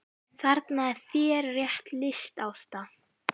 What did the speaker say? Þarna er þér rétt lýst Ásta!